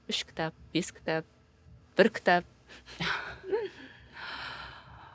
үш кітап бес кітап бір кітап